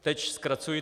Teď zkracuji.